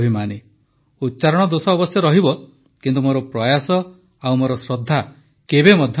ଉଚ୍ଚାରଣ ଦୋଷ ଅବଶ୍ୟ ରହିବ କିନ୍ତୁ ମୋର ପ୍ରୟାସ ଓ ମୋର ଶ୍ରଦ୍ଧା କେବେ ମଧ୍ୟ କମ୍ ହେବନାହିଁ